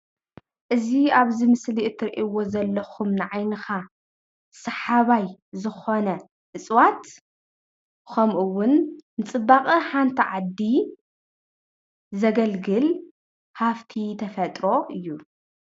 እዚ ኣብዚ ምስሊ ትሪእዎ ዘለኩም ንዓይንካ ሰሓባይ ዝኮነ እፅዋት ከሙኡ እዉን ንፅባቀ ሓንቲ ዓዲ ዘገልግል ሃፍቲ ተፈጥሮ እዩ።